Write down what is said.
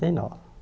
e nove